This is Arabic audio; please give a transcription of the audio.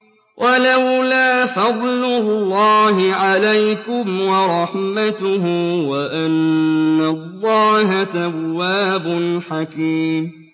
وَلَوْلَا فَضْلُ اللَّهِ عَلَيْكُمْ وَرَحْمَتُهُ وَأَنَّ اللَّهَ تَوَّابٌ حَكِيمٌ